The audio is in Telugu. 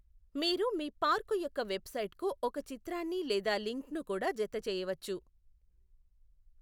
మీరు మీ పార్కు యొక్క వెబ్సైట్కు ఒక చిత్రాన్ని లేదా లింక్ను కూడా జతచేయవచ్చు.